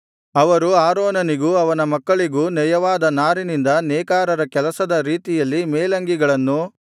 ಅವರು ಆರೋನನಿಗೂ ಅವನ ಮಕ್ಕಳಿಗೂ ನಯವಾದ ನಾರಿನಿಂದ ನೇಕಾರರ ಕೆಲಸದ ರೀತಿಯಲ್ಲಿ ಮೇಲಂಗಿಗಳನ್ನೂ